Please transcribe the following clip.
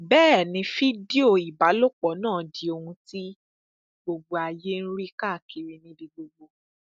bẹẹ ni fídíò ìbálòpọ náà di ohun tí ohun tí gbogbo ayé ń rí káàkiri níbi gbogbo